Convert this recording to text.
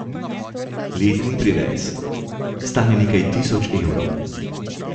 Letni privez stane nekaj tisoč evrov.